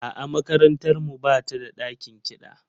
A'a, makarantar mu ba ta da ɗakin kiɗa.